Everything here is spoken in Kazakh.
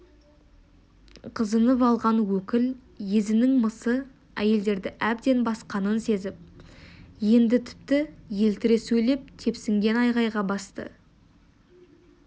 қызынып алған өкіл езінің мысы әйелдерді әбден басқанын сезіп енді тіпті еліре сөйлеп тепсінген айқайға басты